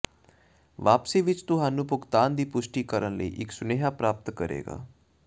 ਵਾਪਸੀ ਵਿੱਚ ਤੁਹਾਨੂੰ ਭੁਗਤਾਨ ਦੀ ਪੁਸ਼ਟੀ ਕਰਨ ਲਈ ਇੱਕ ਸੁਨੇਹਾ ਪ੍ਰਾਪਤ ਕਰੇਗਾ